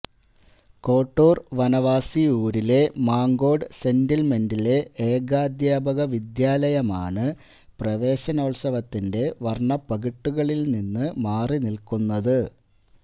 കോട്ടൂര് വനവാസി ഊരിലെ മാങ്കോട് സെറ്റില്മെന്റിലെ ഏകാദ്ധ്യാപക വിദ്യാലയമാണ് പ്രവേശനോത്സവത്തിന്റെ വര്ണ്ണപകിട്ടുകളില് നിന്ന് മാറിനില്ക്കുന്നത്